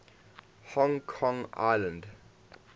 hong kong island